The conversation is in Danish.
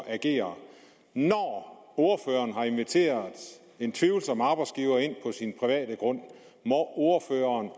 agerer når ordføreren har inviteret en tvivlsom arbejdsgiver ind på sin private grund må ordføreren